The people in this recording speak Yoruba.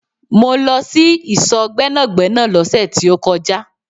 Mó lọ sí ìsò Gbẹ́nàgbẹ́nà lóse tí ó kọjá